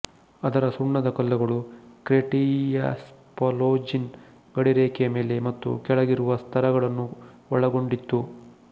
ಅದರ ಸುಣ್ಣದ ಕಲ್ಲುಗಳು ಕ್ರೆಟೇಶಿಯಸ್ಪಲೋಜಿನ್ ಗಡಿರೇಖೆಯ ಮೇಲೆ ಮತ್ತು ಕೆಳಗಿರುವ ಸ್ತರಗಳನ್ನು ಒಳಗೊಂಡಿತ್ತು